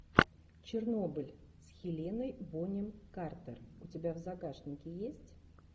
чернобыль с хеленой бонем картер у тебя в загашнике есть